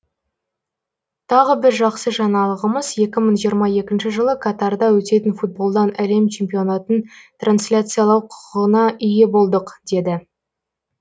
тағы бір жақсы жаңалығымыз екі мың жиырма екінші жылы катарда өтетін футболдан әлем чемпионатын трансляциялау құқығына ие болдық деді